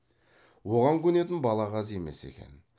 оған көнетін балағаз емес екен